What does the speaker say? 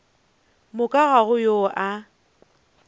moka ga go yo a